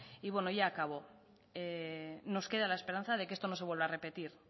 y ya acabo nos queda la esperanza de que esto no se vuelva a repetir